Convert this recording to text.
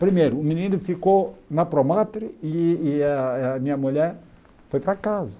Primeiro, o menino ficou na promatria e e a a minha mulher foi para casa.